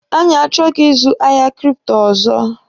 Anyị achọghị ịzụ ahịa kripto ọzọ.